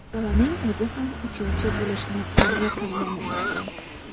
Bolaning o‘zi ham uchuvchi bo‘lishni orzu qilgani ma’lum.